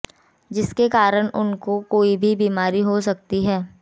जिसके कराण उनको कोई भी बीमारी हो सकती है